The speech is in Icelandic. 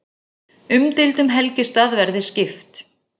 Umdeildum helgistað verði skipt